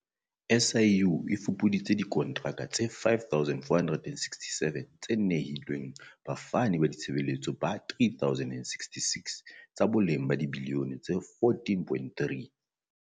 SIU e fupuditse dikontraka tse 5 467 tse nehilweng bafani ba ditshebeletso ba 3 066, tsa boleng ba dibiliyone tse R14.3.